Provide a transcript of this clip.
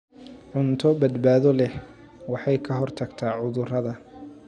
Cunto badbaado leh waxay ka hortagtaa cudurrada.